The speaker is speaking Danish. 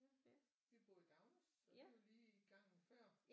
Vi bor i Dagnæs så det er jo lige gangen før